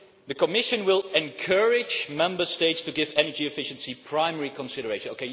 The Commission will encourage Member States to give energy efficiency primary consideration.